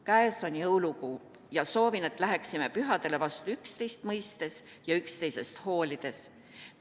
Käes on jõulukuu ja soovin, et läheksime pühadele vastu üksteist mõistes ja üksteisest hoolides.